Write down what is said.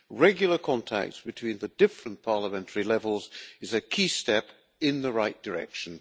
Regular contact between the different parliamentary levels is a key step in the right direction.